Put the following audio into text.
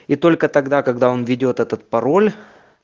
и только тогда когда он введёт этот пароль